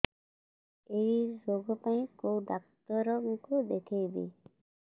ଏଇ ରୋଗ ପାଇଁ କଉ ଡ଼ାକ୍ତର ଙ୍କୁ ଦେଖେଇବି